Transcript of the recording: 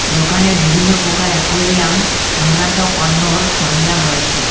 দোকানে বিভিন্ন প্রকার এ্যাকুইরিয়াম সংক্রান্ত পণ্যর সরঞ্জাম রয়েছে।